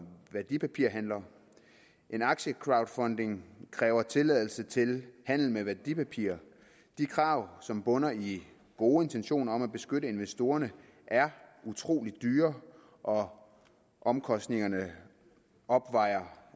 værdipapirhandler en aktiecrowdfunding kræver tilladelse til handel med værdipapirer de krav som bunder i gode intentioner om at beskytte investorerne er utrolig dyre og omkostningerne opvejer